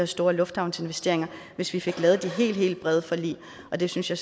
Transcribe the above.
store lufthavnsinvesteringer hvis vi fik lavet de helt helt brede forlig og det synes jeg